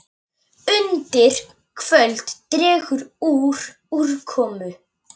Undir kvöld dregur úr úrkomu.